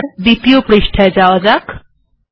এবার পরের পাতা এ যাওয়া যাক